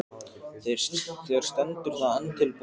Þér stendur það enn til boða.